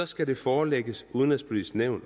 skal det forelægges udenrigspolitisk nævn